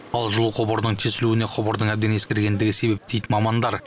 ал жылу құбырынынң тесілуіне құбырдың әбден ескіргендігі себеп дейді мамандар